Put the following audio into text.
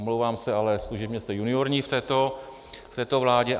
Omlouvám se, ale služebně jste juniorní v této vládě.